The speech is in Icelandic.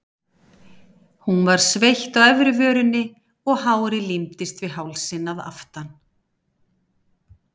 Hún var sveitt á efri vörinni og hárið límdist við hálsinn að aftan.